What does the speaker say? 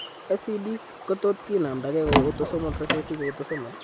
FCDs kotot ki namda gee kou autosomal recessive, autosomal